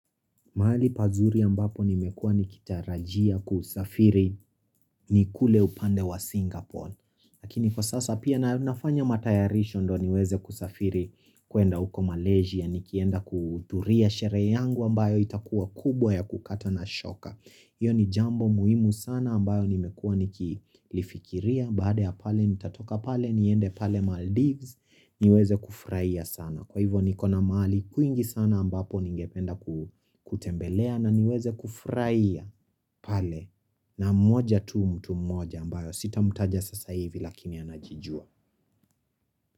Mahali pazuri ambapo nimekuwa nikitarajia kusafiri ni kule upande wa Singapore. Lakini kwa sasa pia nafanya matayarisho ndo niweze kusafiri kuenda uko Malaysia. Nikienda kuhudhuria sherehe yangu ambayo itakuwa kubwa ya kukata na shoka. Iyo ni jambo muhimu sana ambayo nimekuwa nikilifikiria. Baadae ya pale nitatoka pale niende pale Maldives niweze kufurahia sana. Kwa hivo nikona mahali kuingi sana ambapo ningependa kutembelea na niweze kufurahia pale na mmoja tu mtu mmoja ambayo sita mtaja sasa hivi lakini anajijua.